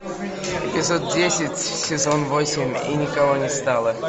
эпизод десять сезон восемь и никого не стало